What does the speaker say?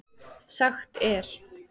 Sagt er